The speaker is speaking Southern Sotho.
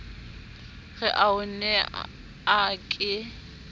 re o ne a ke